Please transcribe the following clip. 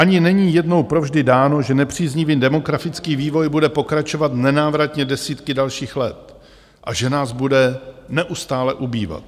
Ani není jednou provždy dáno, že nepříznivý demografický vývoj bude pokračovat nenávratně desítky dalších let a že nás bude neustále ubývat.